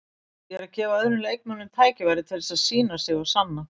Ég er að gefa öðrum leikmönnum tækifæri til þess að sýna sig og sanna.